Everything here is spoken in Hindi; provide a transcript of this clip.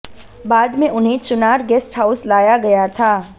बाद में उन्हें चुनार गेस्ट हाउस लाया गया था